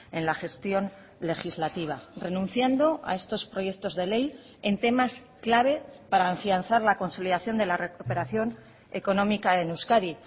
en la gestión legislativa renunciando a estos proyectos de ley en temas clave para afianzar la consolidación de la recuperación económica en euskadi